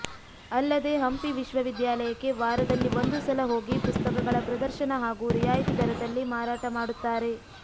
ಅಲ್ಲದೇ ಹಂಪಿ ವಿಶ್ವವಿದ್ಯಾಲಯಕ್ಕೆ ವಾರದಲ್ಲಿ ಒಂದು ಸಲ ಹೋಗಿ ಪುಸ್ತಕಗಳ ಪ್ರದರ್ಶನ ಹಾಗೂ ರಿಯಾಯಿತಿ ದರದಲ್ಲಿ ಮಾರಾಟ ಮಾಡುತ್ತಾರೆ